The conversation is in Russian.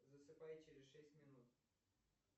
засыпай через шесть минут